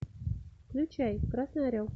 включай красный орел